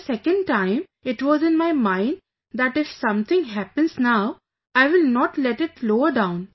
But the second time it was in my mind that if something happens now, I will not let it lower down